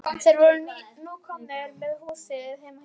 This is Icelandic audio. Þeir voru nú komnir að húsinu heima hjá Lalla.